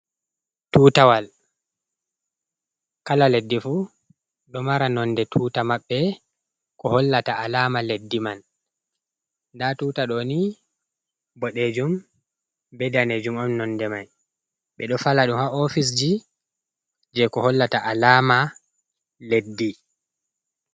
Tutawal kala leddi fu ɗo mara nonde tuta maɓɓe ko hollata alama leddi man, @Anda tuta ɗoni boɗejum be danejum on nonde mai, ɓe do fala ɗum ha ofisji je ko hollata alama leddi.